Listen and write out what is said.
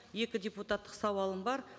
екі депутаттық сауалым бар